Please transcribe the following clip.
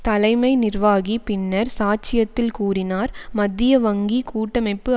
தலைமை நிர்வாகி பின்னர் சாட்சியத்தில் கூறினார் மத்திய வங்கி கூட்டமைப்பு